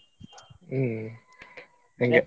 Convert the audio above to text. ಹ್ಮ್‌ ಹಂಗೆ.